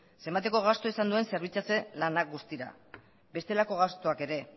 zenbateko gastua izan duen zerbitzatze lanak guztira bestelako gastuak ere